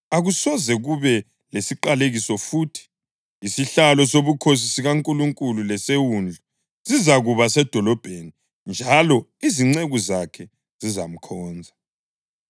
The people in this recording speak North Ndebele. Akusoze kube lesiqalekiso futhi. Isihlalo sobukhosi sikaNkulunkulu leseWundlu zizakuba sedolobheni njalo izinceku zakhe zizamkhonza.